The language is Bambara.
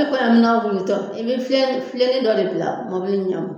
Ne i bɛ filennin dɔ de bila mɔbili ɲɛfɛ